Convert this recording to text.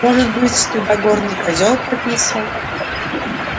может быть туда горный козел пописал